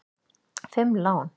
Fimm lán!